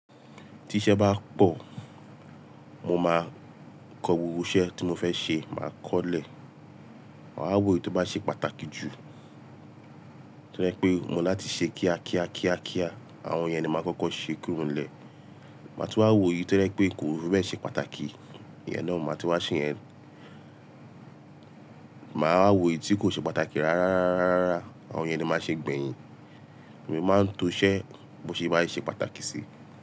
Tiṣẹ́ bá pọ̀, mo máa kọ gbogbo iṣẹ́ tí mo fẹ́ ṣe, màá kọ́olẹ̀. Màá wò èyí tó bá ṣe pàtàkì jù. To je pé mo láti ṣe kíá kíá kíá kíá, àwọn iyẹn ni máa kọ́kọ́ ṣe kúro n llè. Máa tun wá wo èyí to je pé kò fibẹ́ẹ̀ ṣe pàtàkì, ìyẹn náà ni màá tun wá ṣe yẹn. Màá wa wò èyí tí kò ṣe pàtàkì rárárárárárá, àwọn yẹn ni màá ṣe gbẹ̀yìn. Èmi máa ń to iṣẹ́ bó ṣe bá ṣe pàtàkì si.